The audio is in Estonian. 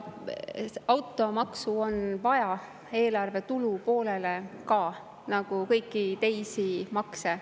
Automaksu on vaja eelarve tulupoolele, nagu ka kõiki teisi makse.